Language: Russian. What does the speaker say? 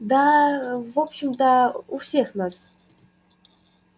да в общем-то у всех нас